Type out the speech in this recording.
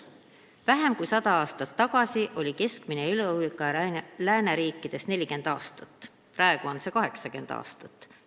"Vähem kui sada aastat tagasi oli keskmine eluiga lääneriikides 40 aastat, praegu on see 80 aastat.